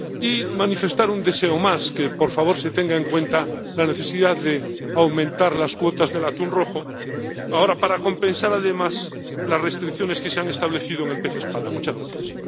Y voy a manifestar un deseo más que, por favor, se tenga en cuenta la necesidad de aumentar las cuotas del atún rojo ahora, para compensar además las restricciones que se han establecido respecto del pez espada.